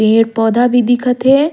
पेड़-पौधा भी दिखा थे।